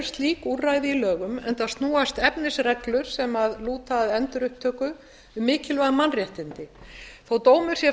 slík úrræði í lögum enda snúast efnisreglur sem lúta að endurupptöku um mikilvæg mannréttindi þótt dómur sé